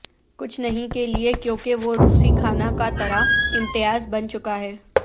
کچھ نہیں کے لئے کیونکہ وہ روسی کھانا کا طرہ امتیاز بن چکا ہے